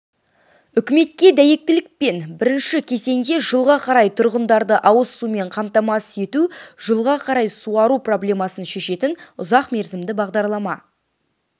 үкіметке дәйектілікпен бірінші кезеңде жылға қарай тұрғындарды ауыз сумен қамтамасыз ету жылға қарай суару проблемасын шешетін ұзақмерзімді бағдарлама